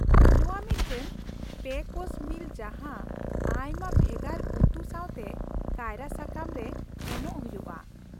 ᱱᱚᱶᱟ ᱢᱤᱫᱴᱟᱝ ᱓ course meal ᱡᱟᱦᱟᱸ ᱟᱭᱢᱟ ᱵᱷᱮᱜᱟᱨ ᱩᱛᱩ ᱥᱟᱶᱛᱮ ᱠᱟᱭᱨᱟ ᱥᱟᱠᱟᱢ ᱨᱮ ᱮᱢᱚᱜ ᱦᱩᱭᱩᱜᱼᱟ ᱾